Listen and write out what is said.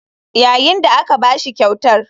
Yayin da aka ba shi kyautar.